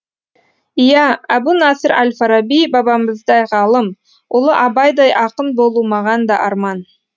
иә әбу нәсір әл фараби бабамыздай ғалым ұлы абайдай ақын болу маған да арман